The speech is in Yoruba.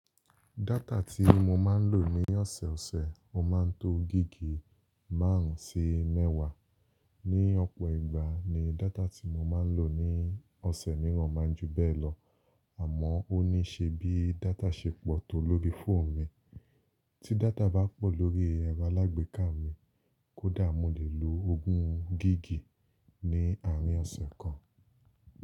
Data tí mo máa ń lò ní ọ̀sẹ̀ẹ̀ ọ̀sẹ̀, ó máa ń tó gíga márùn-ún sí mẹ́wàá. Ni ọ̀pọ̀ ìgbà ni data tí mo máa ń lò ní ọ̀sẹ̀ mìíràn máa ń ju bẹ́ẹ̀ lọ, àmọ́ ó ní ṣe bí data ṣe pọ̀ tó lórí fóònù mi. Tí data bá pọ̀ lórí ẹrọ alágbèéká mi, kódà mo lè lo ogún gíga ní àárín ọ̀sẹ̀ kan.